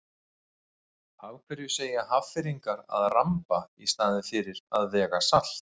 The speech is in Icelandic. Af hverju segja Hafnfirðingar að ramba í staðinn fyrir að vega salt?